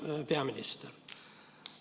Austatud peaminister!